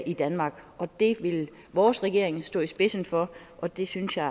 i danmark det vil vores regering stå i spidsen for og det synes jeg